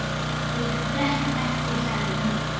Ég drekk ekki, sagði hún.